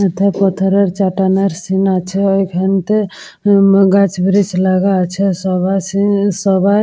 এটা পাথরের চাটানের সিন আছে ওইখানতে উম গাছ ব্রীচ আলগা আছে সবার সিন্ সবার--